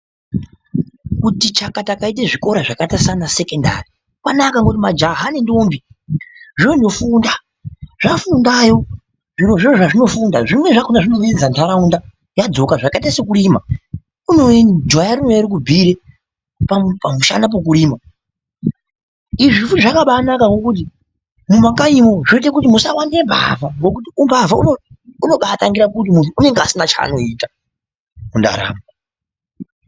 Kuti chakata kaite zvikora zvakaita saana sekondari kwanaka ngokuti majaya nendombi zvoondofunda. Zvafundayo zvirozvo zvazvinofunda, zvimweni zvakona zvinodiidza nharaunda zvadzoka zvakaita sokurima jaya rinouya rokubhuire pamushana pokurima. Izvi futi zvakabaanaka ngokuti mumakanyimwo zvinoita kuti musawande mbavha ngokuti umbavha unobaatangira kuti muntu unenga asina chaanoita mundaramo.